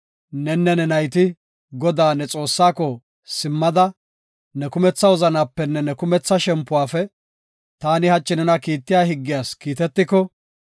nenne ne nayti Godaa, ne Xoossaako, simmada, ne kumetha wozanapenne ne kumetha shempuwafe taani hachi nena kiittiya higgiyas kiitetiko,